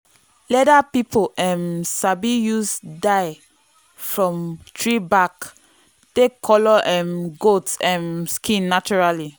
leather people um sabi use dye from tree bark take colour um goat um skin naturally.